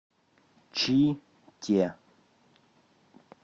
чите